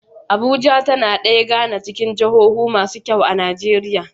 Abuja tAna daya gAna cikin jahohu masu kyau a nigeria